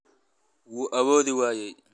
wuu awoodi waayay.